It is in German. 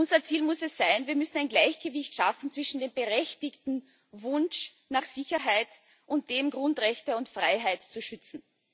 Unser Ziel muss es sein, ein Gleichgewicht zu schaffen zwischen dem berechtigten Wunsch nach Sicherheit und dem Wunsch, Grundrechte und Freiheit zu schützen.